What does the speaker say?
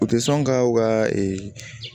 U tɛ sɔn ka u ka ee